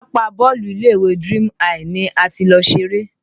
Pápá bọ́ọ̀lù ilé ìwé Dream high ni a ti lọ ṣeré